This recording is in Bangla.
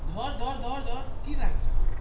ধর ধর ধর কি রাখছিস ওকে.